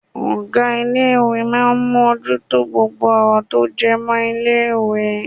Ọ̀gá ilé ìwé máà ń mú ojú tó gbogbo ọ̀rọ̀ tó jẹ́ mọ́ ilé ìwé.